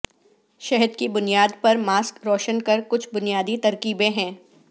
شہد کی بنیاد پر ماسک روشن کر کچھ بنیادی ترکیبیں ہیں